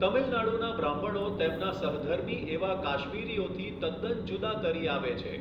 તમીલનાડુના બ્રાહ્મણો તેમના સહધર્મિ એવા કાશ્મીરીઓથી તદ્દન જુદા તરી આવે છે.